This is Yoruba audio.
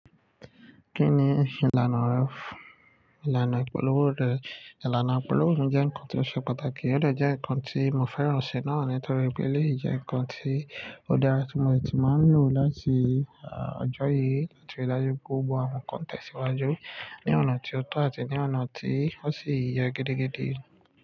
Kí ni ìlànà rẹ, ìlànà ìpolówó rẹ? Ìlànà ìpolówó mi jẹ́ ǹkan tó ṣe pàtàkì, ó de jẹ́ ǹkan tí mo fẹ́ràn ṣe náà ni nítorí pé eléyìí jẹ́ ǹkan tí ó dára tí mo ti máa ń lò láti ọjọ́ yìí láti rí dájú pé gbogbọ́ àwọn nkan tẹ̀síwájú ní ọ̀nà tí ó tọ́ àti ní ọ̀nà tí ó sì yẹ gidigidi.